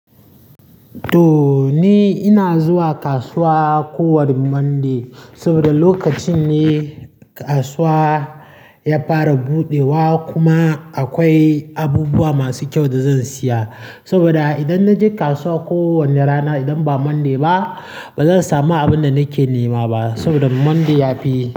To ni ina zuwa kasuwa ko wane Monday saboda lokacin ne kasuwa ya fara buɗewa kuma akwai abubuwa masu kyau da zan siya. Saboda idan na je kasuwa kowane rana idan ba Monday ba, bazan samu abin da nake nema ba saboda Monday yafi.